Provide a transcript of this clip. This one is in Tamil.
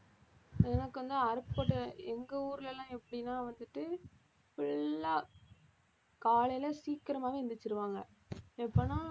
எனக்கு வந்து அருப்புக்கோட்டை எங்க ஊர்ல எல்லாம் எப்படின்னா வந்துட்டு full ஆ காலையில சீக்கிரமாவே எந்திருச்சுருவாங்க எப்பன்னா